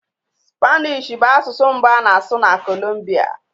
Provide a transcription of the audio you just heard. Spanish bụ asụsụ mbụ a na-asụ na Colombia